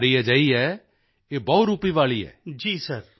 ਇਹ ਬਿਮਾਰੀ ਅਜਿਹੀ ਹੈ ਇਹ ਬਹੁਰੂਪੀ ਵਾਲੀ ਹੈ